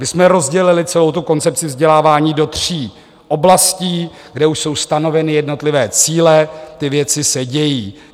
My jsme rozdělili celou tu koncepci vzdělávání do tří oblastí, kde už jsou stanoveny jednotlivé cíle, ty věci se dějí.